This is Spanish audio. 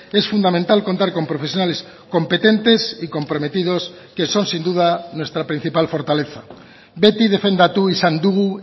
es fundamental contar con profesionales competentes y comprometidos que son sin duda nuestra principal fortaleza beti defendatu izan dugu